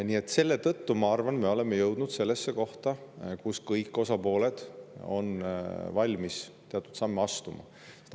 Nii et selle tõttu, ma arvan, me oleme jõudnud sellesse kohta, kus kõik osapooled on valmis teatud samme astuma.